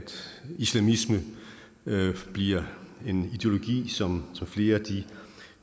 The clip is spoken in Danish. islamisme bliver en ideologi som flere